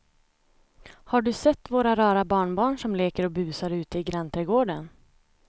Har du sett våra rara barnbarn som leker och busar ute i grannträdgården!